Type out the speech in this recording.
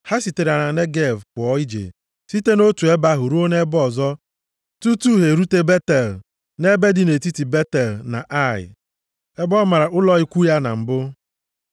Ha sitere na Negev pụọ ije site nʼotu ebe ruo nʼebe ọzọ tutu ha erute Betel, nʼebe dị nʼetiti Betel na Ai, ebe ọ mara ụlọ ikwu ya na mbụ.